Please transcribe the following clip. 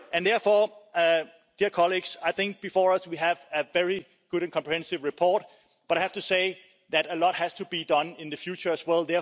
Therefore, I think before us we have a very good and comprehensive report but I have to say that a lot has to be done in the future as well.